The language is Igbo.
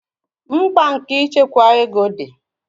mkpa nke ịchekwa ego di